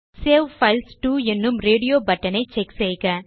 save files to என்னும் radio button ஐ check செய்க